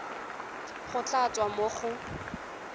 go tla tswa mo go